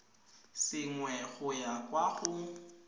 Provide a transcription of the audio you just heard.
sengwe go ya kwa go